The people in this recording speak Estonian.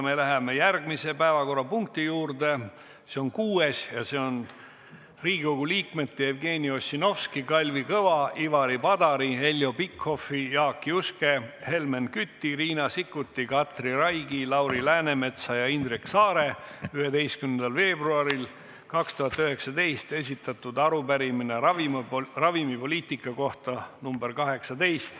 Me läheme järgmise päevakorrapunkti juurde, see on kuues ja see on Riigikogu liikmete Jevgeni Ossinovski, Kalvi Kõva, Ivari Padari, Heljo Pikhofi, Jaak Juske, Helmen Küti, Riina Sikkuti, Katri Raigi, Lauri Läänemetsa ja Indrek Saare 11. veebruaril 2019 esitatud arupärimine ravimipoliitika kohta .